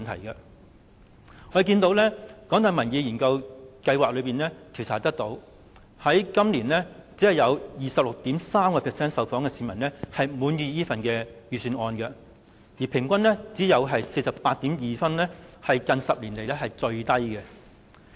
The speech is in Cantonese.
據香港大學民意研究計劃的調查顯示，今年只有 26.3% 的受訪市民表示滿意這份預算案，預算案的平均分只有 48.2 分，是近10年來最低。